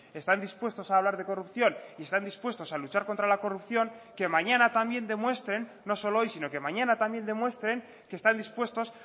están dispuestos a hablar de corrupción y están dispuestos a luchar contra la corrupción que mañana también demuestren no solo hoy sino que mañana también demuestren que están dispuestos